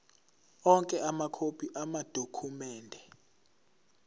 onke amakhophi amadokhumende